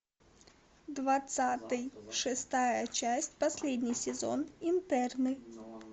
двадцатый шестая часть последний сезон интерны